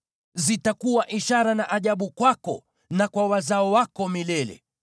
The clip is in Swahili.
Zitakuwa ishara na ajabu kwako na kwa wazao wako milele.